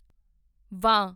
ਵਾਂ